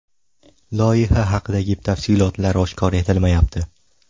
Loyiha haqidagi tafsilotlar oshkor etilmayapti.